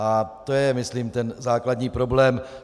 A to je myslím ten základní problém.